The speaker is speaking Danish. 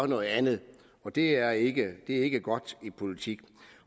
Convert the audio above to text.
noget andet det er ikke ikke godt i politik